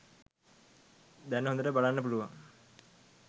දැන් හොදට බලන්න පුළුවන්